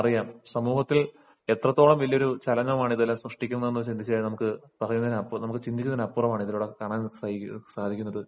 അറിയാം സമൂഹത്തിൽ എത്രത്തോളം വലിയൊരു ചലനമാണ് സൃഷ്ടിക്കുന്നത് എന്ന് ചിന്തിച്ചാൽ നമുക്ക് പറയുന്നതിന് ചിന്തിക്കുന്നതിനു അപ്പുറമാണ് ഇതിലൂടെ കാണാൻ സാധിക്കുന്നത്